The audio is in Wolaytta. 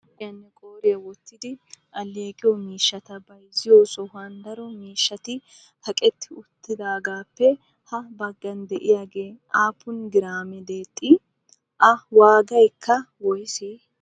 Kishiyaninne qooriyan wottidi alleeqiyo miishshata bayzziyo sohuwan daro miishshata kaqqi uttidaagappe ha baggan de'iyaage aappun graame deexxi? A waagaykka woysse?